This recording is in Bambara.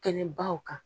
Kɛnɛbaw kan